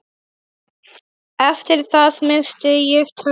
Eftir það missti ég töluna.